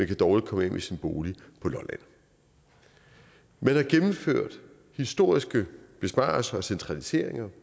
kan dårligt komme af med sin bolig på lolland man har gennemført historiske besparelser og centraliseringer